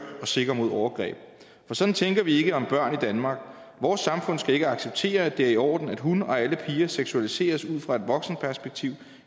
og sikker mod overgreb for sådan tænker vi ikke om børn i danmark vores samfund skal ikke acceptere at det er i orden at hun og alle andre piger seksualiseres ud fra et voksenperspektiv